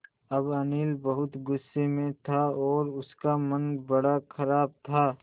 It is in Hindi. अब अनिल बहुत गु़स्से में था और उसका मन बड़ा ख़राब था